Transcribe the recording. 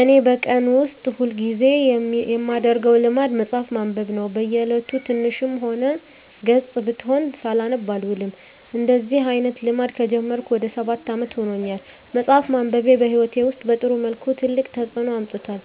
እኔ በቀን ውስጥ ሁል ጊዜ የማደረገው ልማድ መጽሀፍ ማንበብ ነው። በ እየለቱ ትንሽም ገፅ ብትሆን ሳላነብ አልውልም። እንደዚህ አይነት ልማድ ከጀመርኩ ወደ ሰባት አመት ይሆናል። መፅሃፍ ማንበቤ በህይወቴ ውስጥ በጥሩ መልኩ ትልቅ ተፅዕኖ አምጥቷል።